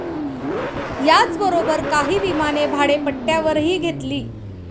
याचबरोबर काही विमाने भाडेपट्ट्यावरही घेतली.